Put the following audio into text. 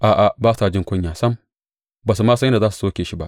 A’a, ba sa jin kunya sam; ba su ma san yadda za su soke kai ba.